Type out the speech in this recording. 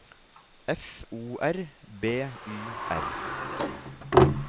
F O R B Y R